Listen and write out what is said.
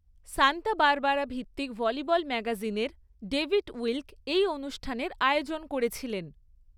Santa Barbara ভিত্তিক volleyball ম্যাগাজিনের David Wilk এই অনুষ্ঠানের আয়োজন করেছিলেন।